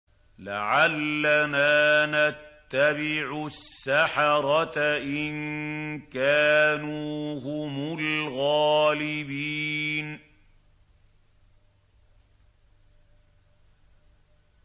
لَعَلَّنَا نَتَّبِعُ السَّحَرَةَ إِن كَانُوا هُمُ الْغَالِبِينَ